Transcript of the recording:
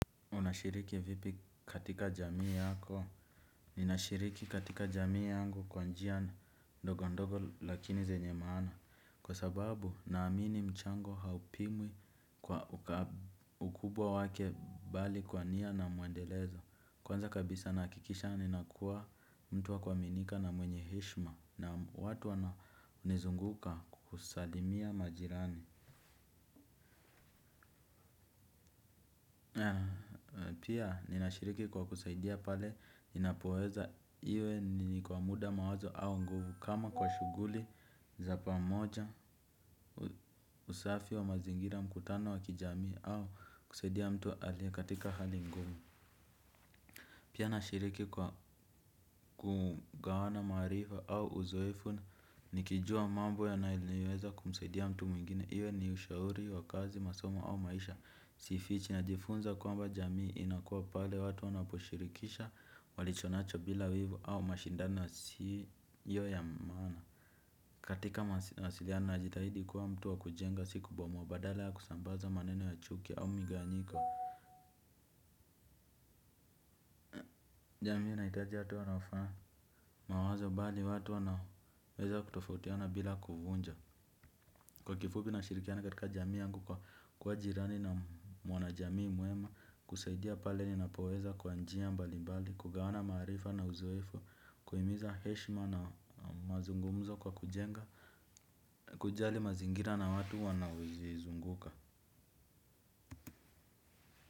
Unashiriki vipi katika jamii yako? Ninashiriki katika jamii yangu kwa njia ndogo ndogo lakini zenye maana. Kwa sababu naamini mchango haupimwi kwa ukubwa wake bali kwa nia na muendelezo. Kwanza kabisa nahakikisha ninakuwa mtu wa kuaminika na mwenye heshima na watu wanaonizunguka kusalimia majirani. Pia ninashiriki kwa kusaidia pale ninapoweza iwe ni kwa muda mawazo au nguvu kama kwa shughuli za pamoja usafi wa mazingira mkutano wa kijamii au kusaidia mtu aliye katika hali ngumu. Pia nashiriki kwa kugawana maarifa au uzoefu nikijua mambo yanaoliweza kumsaidia mtu mwingine iwe ni ushauri wa kazi masomo au maisha. Sifichi najifunza kwamba jamii inakua pale watu wanaposhirikisha walicho nacho bila wivu au mashindano yasiyo ya maana. Katika mawasiliano najitahidi kuwa mtu wa kujenga si kubomoa badala ya kusambaza maneno ya chuki au migawanyiko. Jamii inahitaja watu wanaofaa mawazo bali watu wanaweza kutofautiana bila kuvunja kwa kifupi nashirikiana katika jamii yangu kwa kuwa jirani na mwana jamii mwema kusaidia pale ninapoweza kwa njia mbali mbali kugawana marifa na uzoefu kuhimiza heshima na mazungumzo kwa kujenga kujali mazingira na watu wanaozizunguka.